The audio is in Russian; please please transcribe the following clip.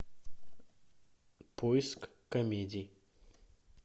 поиск комедий